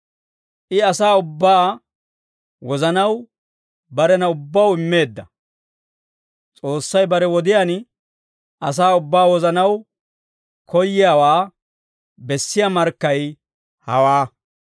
I asaa ubbaa wozanaw barena ubbaw immeedda. S'oossay bare wodiyaan asaa ubbaa wozanaw koyiyaawaa bessiyaa markkay hawaa.